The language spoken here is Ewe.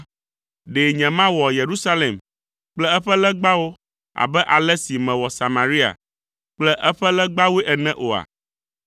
ɖe nyemawɔ Yerusalem kple eƒe legbawo abe ale si mewɔ Samaria kple eƒe legbawoe ene oa?’ ”